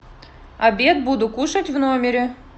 обед буду кушать в номере